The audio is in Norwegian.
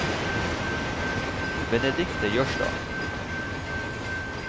Benedicte Jørstad